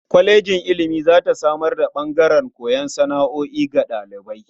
Kwalejin ilimi za ta samar da ɓangaren koyar da sana'o'i ga ɗalibai.